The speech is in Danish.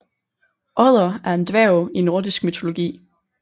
Odder er en dværg i nordisk mytologi